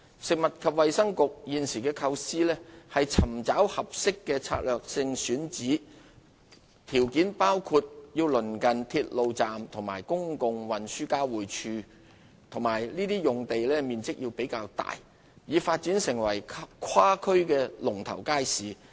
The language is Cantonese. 食物及衞生局現時的構思是尋找合適的策略性選址，條件包括鄰近鐵路站和公共運輸交匯處，以及面積較大的用地，用以發展成跨區的"龍頭街市"。